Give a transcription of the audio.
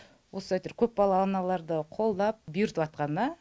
осы әйтеуір көпбалалы аналарды қолдап бұйыртыватқанына